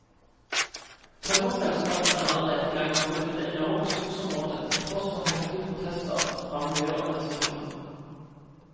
Tømmerselskapene er allerede i gang med å rydde det enorme skogsområdet, til tross for heftige protester fra miljøorganisasjoner.